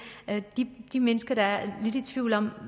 de mennesker der er lidt i tvivl om